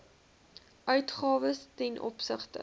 uitgawes ten opsigte